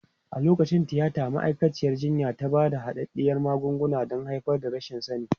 A lokacin tiyata, ma'aikaciyar jinya ta ba da hadaddiyar magunguna don haifar da rashin sani.